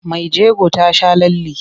Mai jego ta sha lalle.